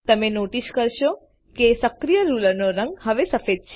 તમે નોટિસ કરશો કે સક્રિય રૂલરનો રંગ હવે સફેદ છે